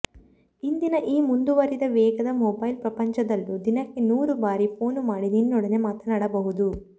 ಇಂದಿನ ಈ ಮುಂದುವರಿದ ವೇಗದ ಮೊಬೈಲ್ ಪ್ರಪಂಚದಲ್ಲೂ ದಿನಕ್ಕೆ ನೂರು ಬಾರಿ ಫೋನು ಮಾಡಿ ನಿನ್ನೊಡನೆ ಮಾತನಾಡಬಹುದು